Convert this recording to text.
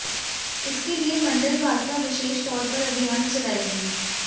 इसके लिए मंडल भाजपा विशेष तौर पर अभियान चलाएगी